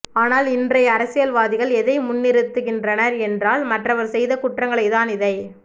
ஆனால் இன்றை அரசியல்வாதிகள் எதை முன்னிறுத்துகின்றனர் என்றால் மற்றவர் செய்த குற்றங்களைதான் இதை